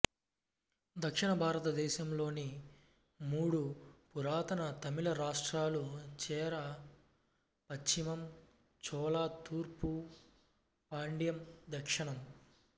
దక్షిణభారతదేశంలోని మూడు పురాతన తమిళ రాష్ట్రాలు చేరా పశ్చిమం చోళ తూర్పు పాండ్యదక్షిణం